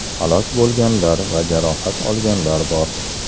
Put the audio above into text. Halok bo‘lganlar va jarohat olganlar bor.